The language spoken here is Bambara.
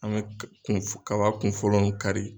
An bɛ ka kun kaba kun fɔlɔ nunnu kari.